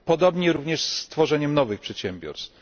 Podobnie jest również z tworzeniem nowych przedsiębiorstw.